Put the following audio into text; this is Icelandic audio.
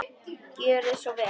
Gjörið svo vel!